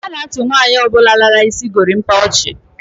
A na-achi nwaanyi obula lara isi gorimapa ochi.